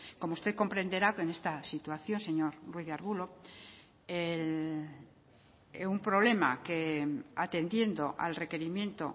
como usted comprenderá con esta situación señor ruiz de arbulo un problema que atendiendo al requerimiento